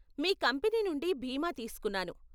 మీ company నుండి బీమా తీస్కున్నాను.